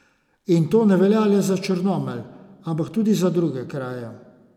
In to ne velja le za Črnomelj, ampak tudi za druge kraje.